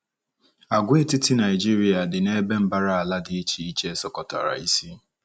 Àgwàetiti Naịjirịa dị n’ebe mbara ala dị iche iche sọkọtara isi.